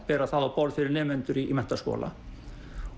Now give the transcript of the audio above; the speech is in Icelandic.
bera það á borð fyrir nemendur í menntaskóla